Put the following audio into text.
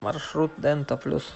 маршрут дента плюс